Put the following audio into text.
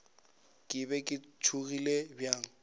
ke be ke tšhogile bjang